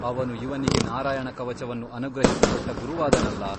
ಅವನು ಇವನಿಗೆ ನಾರಾಯಣಕವಚವನ್ನು ಅನುಗ್ರಹಿಸಿ ಕೊಟ್ಟು ಗುರುವಾದನಲ್ಲ!